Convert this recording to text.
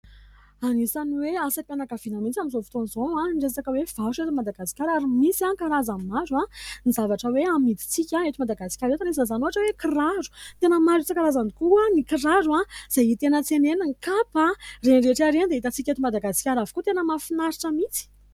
Anisany hoe asam-pianakaviana mihitsy amin'izao fotoana izao ny resaka hoe varotra eto Madagasikara, ary misy karazany maro ny zavatra hoe amidintsika eto Madagasikara eto, ary anisan'izany ohatra hoe ny kiraro, tena maro isan-karazany tokoa ny kiraro izay hita eny an-tsena eny, ny kapa, ireny rehetra ireny dia hitan-tsika eto Madagasikara avokoa, tena mahafinaritra mihitsy !